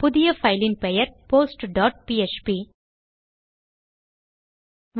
புதிய பைல் இன் பெயர் postபிஎச்பி